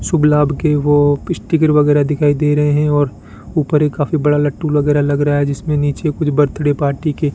शुभ लाभ के वो स्टीकर दिखाई दे रहे हैं और ऊपर एक काफी बड़ा लट्टू लग रहा है जिसमें नीचे कुछ बर्थडे पार्टी के --